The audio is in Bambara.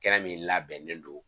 Tikɛ min labɛnnen don.